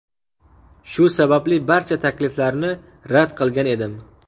Shu sababli barcha takliflarni rad qilgan edim.